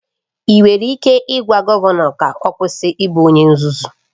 Ị nwere ike ịgwa gọvanọ ka ọ kwụsị ịbụ onye nzuzu?